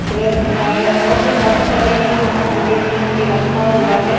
Press है और भी काफी सारे इलेक्ट्रिक का प्रोजेक्ट यहां पे रखा हुआ है।